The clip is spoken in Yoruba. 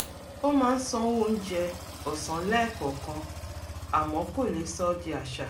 ó máa ń sanwó oúnjẹ ọ̀sán lẹ́ẹ̀kọ̀ọ̀kan àmọ́ kò lè sọ ọ́ di àṣà